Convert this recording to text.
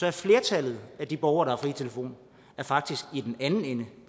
at flertallet af de borgere der har fri telefon faktisk i den anden ende